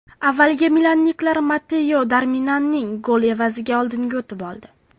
Avvaliga milanliklar Matteo Darmianning goli evaziga oldinga o‘tib oldi.